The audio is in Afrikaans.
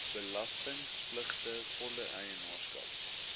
belastingpligtige volle eienaarskap